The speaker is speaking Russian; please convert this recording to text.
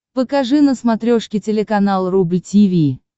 покажи на смотрешке телеканал рубль ти ви